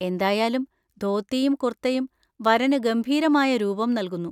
എന്തായാലും, ധോത്തിയും കുർത്തയും വരന് ഗംഭീരമായ രൂപം നൽകുന്നു.